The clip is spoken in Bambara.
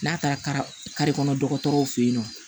N'a taara kare kɔnɔ dɔgɔtɔrɔw fe yen nɔ